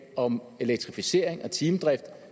om elektrificering og timedrift